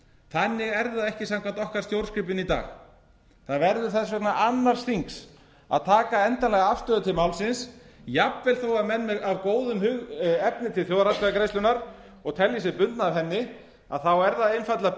þannig er það ekki samkvæmt okkar stjórnskipun í dag það verður þess vegna annars þings að taka endanlega afstöðu til málsins jafnvel þó að menn af góðum hug efni til þjóðaratkvæðagreiðslunnar og telji sig bundna af henni þá er það einfaldlega